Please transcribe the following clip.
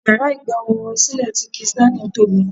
Yàrá ìgba ohùn orin sílè ti kizz Daniel tóbi.